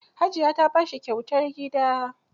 Hajiya ta ba shi kyautar gida.